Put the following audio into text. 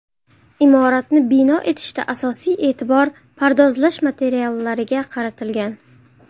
Imoratni bino etishda asosiy e’tibor pardozlash materiallariga qaratilgan.